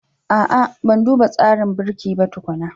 A'a, Ban duba tsarin birki ba tukuna